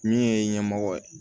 Min ye ɲɛmɔgɔ ye